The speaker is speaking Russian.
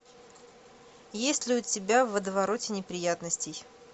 есть ли у тебя в водовороте неприятностей